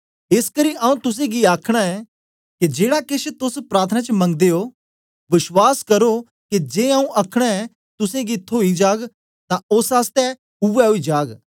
एसकरी आऊँ तुसें गी आखना ऐ के जेड़ा केछ तोस प्रार्थना च मगदे ओ बश्वास करो के जे आऊँ अखनां ऐ तुसें गी थोई जाग तां ओस आस्ते उवै ओई जाग